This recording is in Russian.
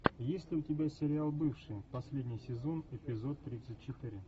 есть ли у тебя сериал бывшие последний сезон эпизод тридцать четыре